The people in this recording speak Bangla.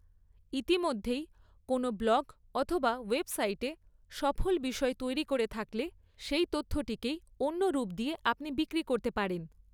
ইতিমধ্যেই কোনও ব্লগ অথবা ওয়েবসাইটে সফল বিষয় তৈরি করে থাকলে, সেই তথ্যটিকেই অন্য রূপ দিয়ে আপনি বিক্রি করতে পারেন।